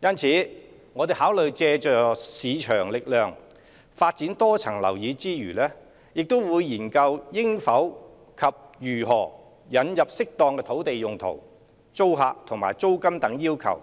因此，我們考慮借助市場力量發展多層樓宇之餘，亦會研究應否及如何引入適當土地用途、租客和租金等要求，